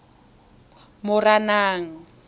moranang